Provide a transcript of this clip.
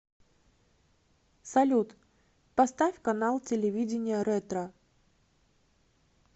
салют поставь канал телевидения ретро